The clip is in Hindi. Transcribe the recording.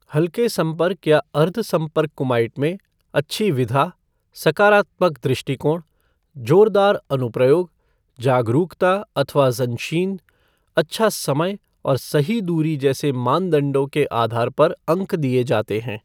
हल्के संपर्क या अर्ध संपर्क कुमाइट में, अच्छी विधा, सकारात्मक दृष्टिकोण, जोरदार अनुप्रयोग, जागरूकता अथवा ज़ंशीन, अच्छा समय और सही दूरी जैसे मानदंडों के आधार पर अंक दिए जाते हैं।